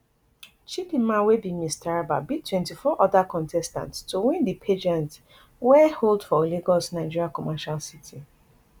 chidimma wey be miss taraba beat twenty-four oda contestants to win di pageant wey hold for lagos nigeria commercial city